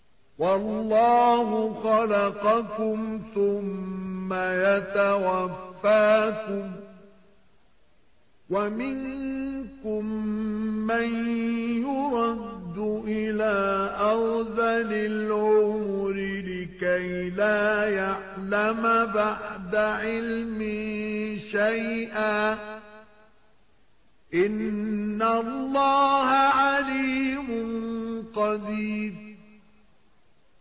وَاللَّهُ خَلَقَكُمْ ثُمَّ يَتَوَفَّاكُمْ ۚ وَمِنكُم مَّن يُرَدُّ إِلَىٰ أَرْذَلِ الْعُمُرِ لِكَيْ لَا يَعْلَمَ بَعْدَ عِلْمٍ شَيْئًا ۚ إِنَّ اللَّهَ عَلِيمٌ قَدِيرٌ